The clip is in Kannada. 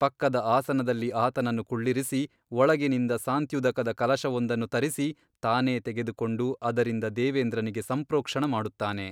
ಪಕ್ಕದ ಆಸನದಲ್ಲಿ ಆತನನ್ನು ಕುಳ್ಳಿರಿಸಿ ಒಳಗಿನಿಂದ ಸಾಂತ್ಯುದಕದ ಕಲಶವೊಂದನ್ನು ತರಿಸಿ ತಾನೇ ತೆಗೆದುಕೊಂಡು ಅದರಿಂದ ದೇವೇಂದ್ರನಿಗೆ ಸಂಪ್ರೋಕ್ಷಣ ಮಾಡುತ್ತಾನೆ.